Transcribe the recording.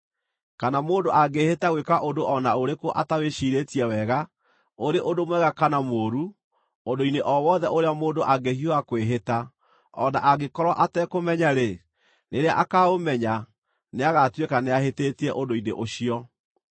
“ ‘Kana mũndũ angĩĩhĩta gwĩka ũndũ o na ũrĩkũ atawĩcirĩtie wega, ũrĩ ũndũ mwega kana mũũru, ũndũ-inĩ o wothe ũrĩa mũndũ angĩhiũha kwĩhĩta, o na angĩkorwo atekũũmenya-rĩ, rĩrĩa akaaũmenya, nĩagatuĩka nĩahĩtĩtie ũndũ-inĩ ũcio.